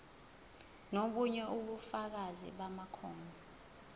nobunye ubufakazi bamakhono